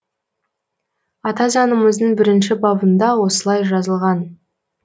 ата заңымыздың бірінші бабында осылай жазылған